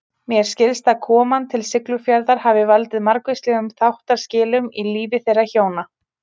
Mér skilst að koman til Siglufjarðar hafi valdið margvíslegum þáttaskilum í lífi þeirra hjóna.